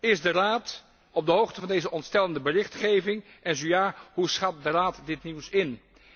Is de Raad op de hoogte van deze ontstellende berichtgeving en zo ja, hoe schat de Raad dit nieuws in?